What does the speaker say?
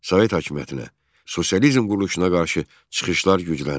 Sovet hakimiyyətinə, sosializm quruluşuna qarşı çıxışlar gücləndi.